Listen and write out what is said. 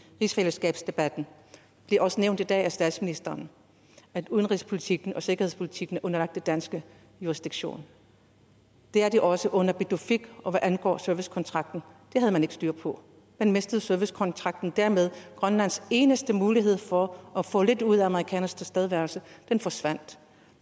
rigsfællesskabsdebatten det er også nævnt i dag af statsministeren at udenrigspolitikken og sikkerhedspolitikken er underlagt dansk jurisdiktion det er det også under pituffik og hvad angår servicekontrakten det havde man ikke styr på man mistede servicekontrakten og dermed grønlands eneste mulighed for at få lidt ud af amerikanernes tilstedeværelse den forsvandt